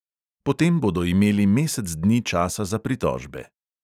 Potem bodo imeli mesec dni časa za pritožbe.